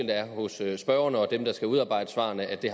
er hos spørgeren og dem der skal udarbejde svarene og det